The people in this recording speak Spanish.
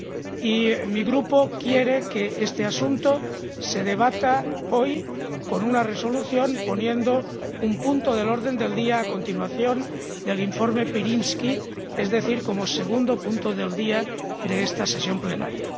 Y mi Grupo quiere que este asunto se debata hoy, con una Resolución, en un punto del orden del día que vaya a continuación del informe Pirinski, es decir, como segundo punto del orden del día de esta sesión plenaria.